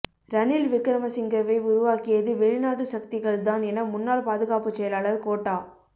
ரணில் விக்கிரமசிங்கவை உருவாக்கியது வெளிநாட்டு சக்திகள் தான் என முன்னாள் பாதுகாப்புச் செயலாளர் கோட்டா